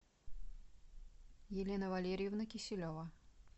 елена валерьевна киселева